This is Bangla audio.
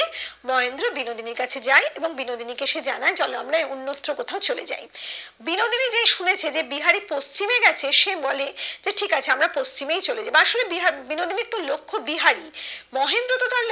মহেন্দ্র বিনোদিনীর কাছে যায় এবং বিনোদিনী কে সে জানায় চলো আমরা অন্যত্র কোথাও চলে যাই বিনোদিনী যেই শুনেছে যে বিহারি পশ্চিমে গেছে সে বলে ঠিক আছে আমরা পশ্চিমেই চলে যাই বা আসলে বিনোদিনীর একটু লক্ষ বিহারি মহেন্দ্র তো তার